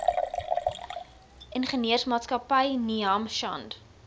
ingenieursmaatskappy ninham shand